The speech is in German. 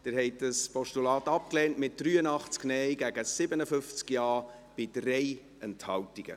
Sie haben dieses Postulat abgelehnt, mit 83 Nein- zu 57 Ja-Stimmen bei 3 Enthaltungen.